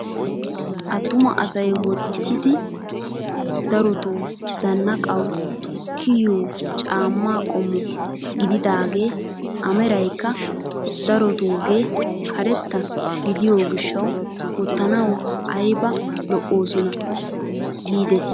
Attuma asay wottidi darotoo zannaqawu kiyiyoo caammaa qommo gididagee a meraykka darotugee karetta gidiyoo gishshawu wottanawu ayba lo"oosona gidetti nuna!